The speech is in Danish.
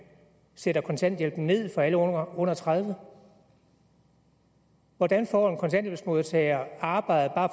sætter kontanthjælpen ned for alle under tredive år hvordan får en kontanthjælpsmodtager arbejde bare